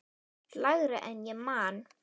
Lægra en ég man.